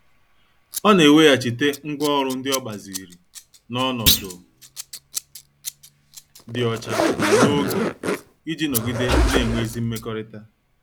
Ọ na-eweghachite ngwá ọrụ ndị o gbaziri na onodu di ocha na n'oge, iji nọgide na-enwe ezi mmekọrịta.